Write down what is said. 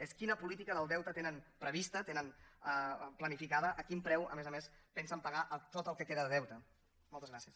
és quina política del deute tenen prevista tenen planificada a quin preu a més a més pensen pagar tot el que queda de deute moltes gràcies